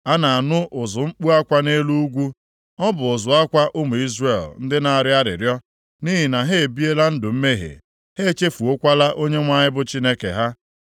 A na-anụ ụzụ mkpu akwa nʼelu ugwu. Ọ bụ ụzụ akwa ụmụ Izrel ndị na-arịọ arịrịọ nʼihi na ha ebiela ndụ mmehie; ha echefuokwala Onyenwe anyị bụ Chineke ha.